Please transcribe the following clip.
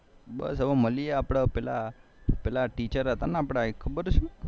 બસ હવે મળીએ આપડે પેલા ટીચેર હતા ને આપડે પેલા એક ખબર છે